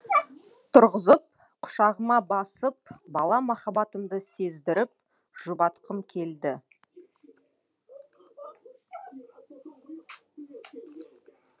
тұрғызып құшағыма басып бала махаббатымды сездіріп жұбатқым келді